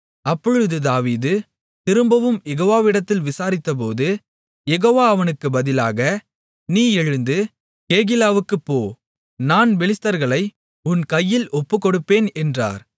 அப்பொழுது தாவீது திரும்பவும் யெகோவாவிடத்தில் விசாரித்தபோது யெகோவா அவனுக்கு பதிலாக நீ எழுந்து கேகிலாவுக்குப் போ நான் பெலிஸ்தர்களை உன் கையில் ஒப்புக்கொடுப்பேன் என்றார்